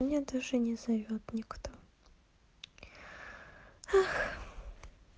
меня даже не зовёт никто эх